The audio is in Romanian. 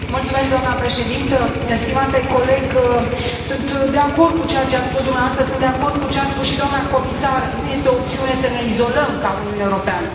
Doamna președintă, stimate coleg, sunt de acord cu ceea ce ați spus dumneavoastră, sunt de acord cu ce a spus și doamna comisar nu este o opțiune să ne izolăm ca Uniunea Europeană.